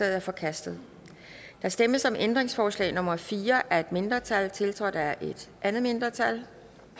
er forkastet der stemmes om ændringsforslag nummer fire af et mindretal tiltrådt af et andet mindretal